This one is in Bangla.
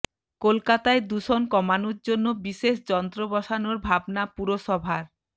কলকাতায় দূষণ কমানোর জন্য বিশেষ যন্ত্র বসানোর ভাবনা পুরসভার